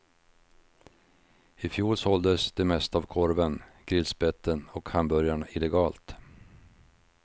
I fjol såldes det mesta av korven, grillspetten och hamburgarna illegalt.